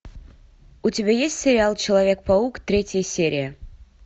у тебя есть сериал человек паук третья серия